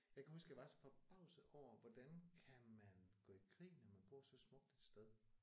Jeg kan huske jeg var så forbavset over hvordan kan man gå i krig når man bor så smukt et sted